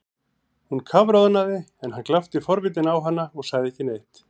Hún kafroðnaði en hann glápti forvitinn á hana og sagði ekki neitt.